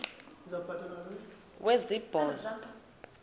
wesibhozo wabhu bha